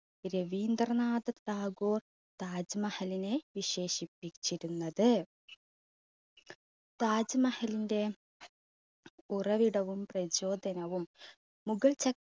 രവീന്ദ്രനാഥ ടാഗോർ താജ് മഹലിനെ വിശേഷിപ്പിച്ചിരുന്നത്. താജ് മഹലിന്റെ ഉറവിടവും പ്രചോദനവും മുഗൾ ച~